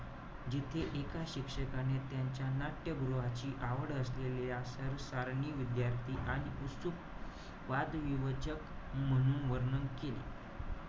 जिथे एका शिक्षकाने त्यांच्या नाट्यगृहाची आवड असलेल्या सरसारणी विद्यार्थी आणि उत्सुक वादविवचक, म्हणून वर्णन केले.